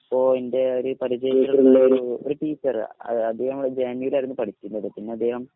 point ഒരു പരിചയം ഉള്ളൊരു ഒരു ടീച്ചറ് അദ്ദേഹം ജെ എന്നിൽ ആയിരുന്നു പഠിച്ചിരുന്നത് പിന്നെ അദ്ദേഹം